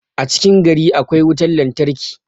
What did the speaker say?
a cikin gari akwai wutar lantarki